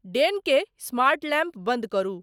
डेन के smart lamp बंद करु